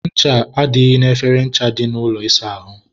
ncha adịghị n'efere ncha dị n'ụlọ ịsa ahụ.